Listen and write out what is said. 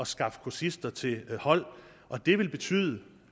skaffe kursister til hold og det vil betyde